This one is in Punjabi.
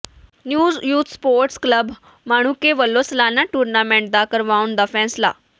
new youth sports club Manuke ਵਲੋਂ ਸਾਲਾਨਾ ਟੂਰਨਾਮੈਂਟ ਨਾ ਕਰਵਾਉਣ ਦਾ ਫ਼ੈਸਲਾ